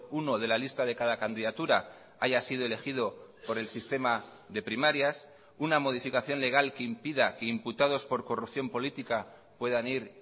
uno de la lista de cada candidatura haya sido elegido por el sistema de primarias una modificación legal que impida que imputados por corrupción política puedan ir